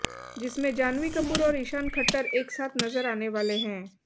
जिसमें जान्हवी कपूर और ईशान खट्टर एक साथ नजर आने वाले हैं